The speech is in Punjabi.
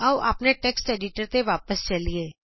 ਆਉ ਆਪਣੇ ਟੈਕਸ ਐਡੀਟਰ ਤੇ ਵਾਪਸ ਚਲੀਏ